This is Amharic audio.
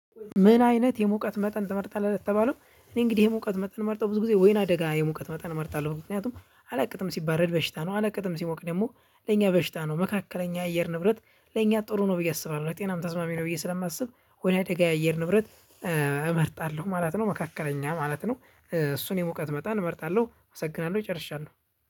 ምን አይነት የሙቀት መጠን ትመርጣለህ ለተባለው? እኔ እንግዲህ የሙቀት መጠን ምመርጠው ብዙ ጊዜ ወይና ደጋ የሙቀት መጠን እመርጣለሁ ምክንያቱም አለቅጥም ሲባረድ በሽታ ነው አለቅጥም ሲሞቅ ደግሞ ለኛ በሽታ ነው። መካከለኛ የአየር ንብረት ለኛ ጥሩ ነው ብዬ አስባለሁ ለጤናም ተስማሚ ነው። ብዬ ስለማስብ ወይና ደጋ የአየር ንብረት እመርጣለሁ ማለት ነው። መካከለኛ ማለት ነው። እሱን የሙቀት መጠን እመርጣለሁ አመሰግናለሁ ጨርሻለው።